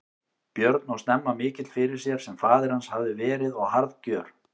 Björn og snemma mikill fyrir sér sem faðir hans hafði verið og harðgjör.